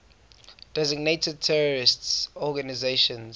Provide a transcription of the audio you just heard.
designated terrorist organizations